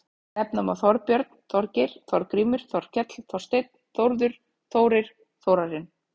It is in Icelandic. Nefna má Þorbjörn, Þorgeir, Þorgrímur, Þorkell, Þorsteinn, Þórður, Þórir, Þórarinn.